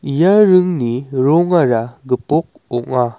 ia ringni rongara gipok ong·a.